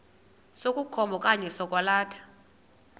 sokukhomba okanye sokwalatha